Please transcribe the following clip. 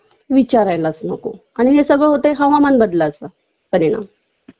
विचारायलाच नको आणि हे सगळं होतंय हवामान बदलाचा परिणाम